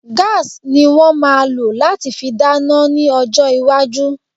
Gas ni wọ́n máa lò láti fi dáná ní ọjọ́ iwájú